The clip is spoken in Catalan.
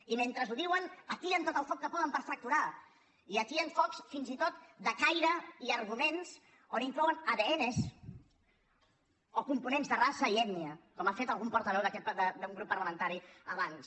i mentre ho diuen atien tot el foc que poden per fracturar i atien focs fins i tot de caire i arguments on inclouen adn o components de raça i ètnia com ha fet algun portaveu d’un grup parlamentari abans